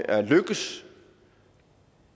at lykkes